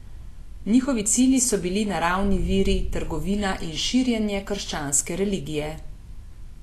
Njihovi cilji so bili naravni viri, trgovina in širjenje krščanske religije.